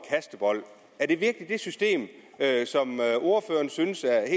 kastebold er det virkelig et system som ordføreren synes er